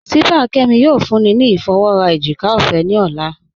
Sípàá Kẹ́mí yóò fúnní ni ifọwọ́rà èjìkà ọfẹ́ ni ọlá.